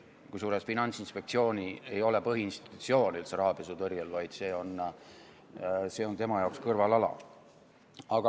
Kusjuures Finantsinspektsioon ei ole üldse põhiinstitutsioon rahapesutõrjel, vaid see on tema jaoks kõrvalala.